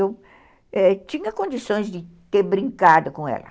Eu tinha condições de ter brincado com ela.